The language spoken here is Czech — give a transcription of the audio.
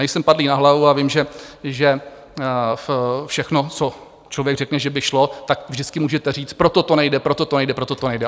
Nejsem padlý na hlavu a vím, že všechno, co člověk řekne, že by šlo, tak vždycky můžete říct, proto to nejde, proto to nejde, proto to nejde.